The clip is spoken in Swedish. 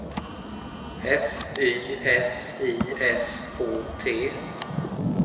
F Y S I S K T